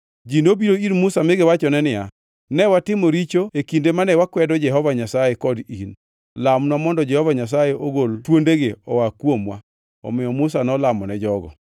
Ji nobiro ir Musa mi giwachone niya, “Ne watimo richo e kinde mane wakwedo Jehova Nyasaye kod in. Lamnwa mondo Jehova Nyasaye ogol thuondegi oa kuomwa.” Omiyo Musa nolamone jogo.